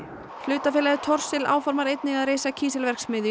hlutafélagið Thorsil áformar einnig að reisa kísilverksmiðju